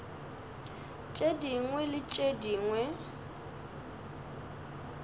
tše dingwe le tše dingwe